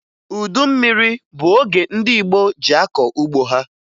Udu mmiri bụ oge ndị Igbo ji akọ ugbo ha